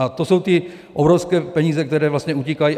A to jsou ty obrovské peníze, které vlastně utíkají.